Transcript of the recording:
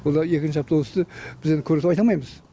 ол екінші автобусты біз көрдік деп айта алмаймыз